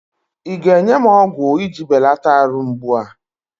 ị ga-enye m ọgwụ iji belata arụ mgbu a?